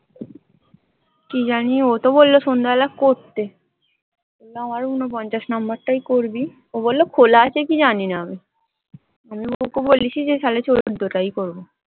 কি জানি ও তো বললো সন্ধ্যেবেলা করতে। আমার ঊনপঞ্চাশ number টায় করবি। ও বললো খোলা আছে কি জানিনা আমি? আমি ওকে বলেছি যে, তাহলে চোদ্দ টায় করবো।